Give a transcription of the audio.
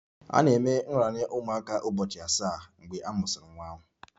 A na-eme nraranye ụmụaka ụbọchị asaa mgbe a mụsịrị nwa ahụ